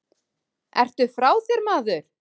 Ertu frá þér maður?